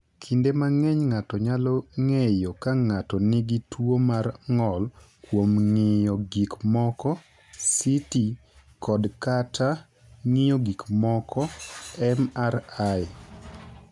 "Kinde mang’eny, ng’ato nyalo ng’eyo ka ng’ato nigi tuwo mar ng’ol kuom ng’iyo gik moko (CT) kod/kata ng’iyo gik moko (MRI)."